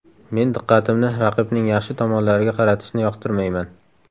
Men diqqatimni raqibning yaxshi tomonlariga qaratishni yoqtirmayman.